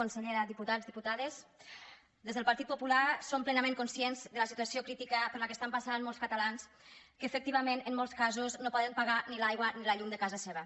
consellera diputats diputades des del partit popular som plenament conscients de la situació crítica per la qual estan passant molts catalans que efectivament en molts casos no poden pagar ni l’aigua ni la llum de casa seva